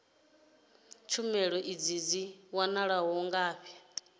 tshumelo idzi dzi wanala ngafhi